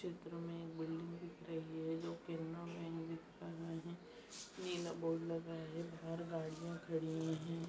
चित्र में एक बिल्डिंग दिख रही है जो कि दिख रहा है। नीला बोर्ड लगा है। बाहर गाड़ियां खड़ी हैं।